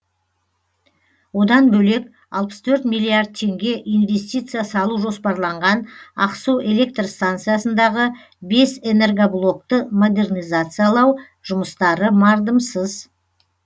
одан бөлек алпыс төрт миллиард теңге инвестиция салу жоспарланған ақсу электр станциясындағы бес энергоблокты модернизациялау жұмыстары мардымсыз